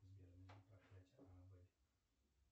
сбер проклятие аннабель